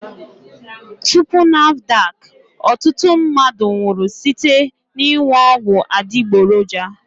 Tupu NAFDAC, ọtụtụ mmadụ nwụrụ site n'ịṅụ ọgwụ adịgboroja